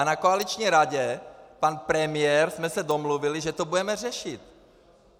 A na koaliční radě, pan premiér, jsme se domluvili, že to budeme řešit.